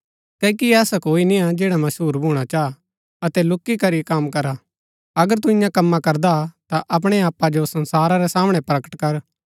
क्ओकि ऐसा कोई निया जैडा मशहुर भूणा चाह अतै लूकी करी कम करा अगर तू ईयां कम्मा करदा ता अपणै आपा जो संसारा रै सामणै प्रकट कर